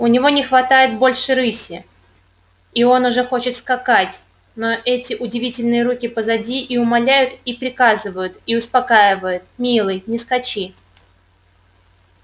у него не хватает больше рыси и он уже хочет скакать но эти удивительные руки позади и умоляют и приказывают и успокаивают милый не скачи